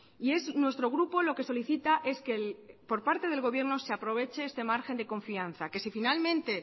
y es nuestro grupo lo que solicita es que por parte del gobierno se aproveche este margen de confianza que si finalmente